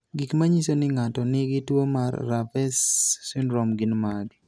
Gik manyiso ni ng'ato nigi tuwo mar Revesz syndrome gin mage?